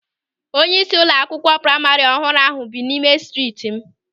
Onyeisi ụlọ akwụkwọ praima ọhụrụ ahụ bi n'ime striit m.